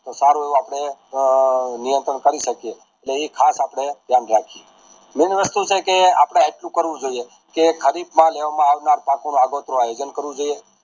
તોહ સારું આપડે નિયંત્રણ કરી શકીયે ને એ ખાસ આપણે ધ્યાન રાખીયે મૈન વસ્તુ છેકે આપણે એટલુંકરવું જોઈએ કે કરીફ માં લેવામાં આવનાર પાકો માં આવે જેમ કરું